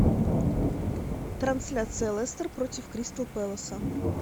трансляция лестер против кристал пэласа